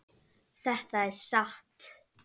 Þetta er satt!